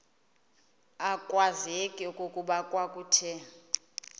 akwazeki okokuba kwakuthe